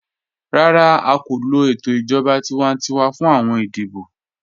Rárá, à kò lọ ètò ijọ̀ba tíwàntíwà fún awọn ìdíbọ̀.